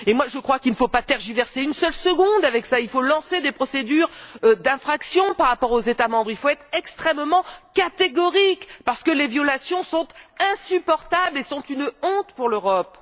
Je crois qu'il ne faut pas tergiverser une seule seconde. Il faut lancer des procédures d'infraction à l'encontre des États membres, il faut être extrêmement catégorique! Parce que les violations sont insupportables et sont une honte pour l'Europe!